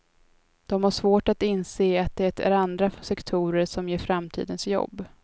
De har svårt att inse att det är andra sektorer som ger framtidens jobb.